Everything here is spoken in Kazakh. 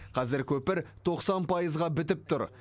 қазір көпір тоқсан пайызға бітіп тұр